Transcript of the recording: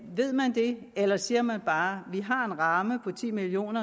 ved man det eller siger man bare vi har en ramme på ti million